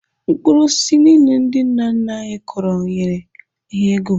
Mkpụrụ osisi so n'ihe ndị nna nna anyị kọrọ nyere ha ego.